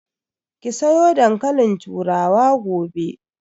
Ki soya dankalin turawa gobe!